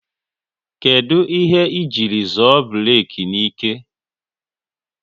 Kedụ ihe ị jiri zoọ burek n'ike?